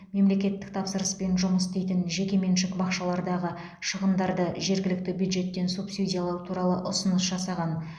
мемлекеттік тапсырыспен жұмыс істейтін жекеменшік бақшалардағы шығындарды жергілікті бюджеттен субсидиялау туралы ұсыныс жасаған